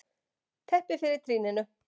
Teppi fyrir trýninu.